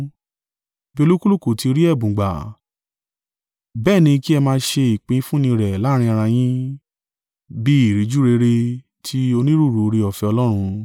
Bí olúkúlùkù ti rí ẹ̀bùn gbà, bẹ́ẹ̀ ni kí ẹ máa ṣe ìpín fún ni rẹ̀ láàrín ara yín, bí ìríjú rere tí onírúurú oore-ọ̀fẹ́ Ọlọ́run.